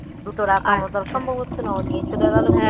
দুটো রাখার মত সম্ভব হচ্ছে না ও নিয়ে চলে গেলো